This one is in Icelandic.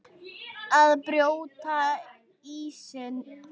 Að brjóta ísinn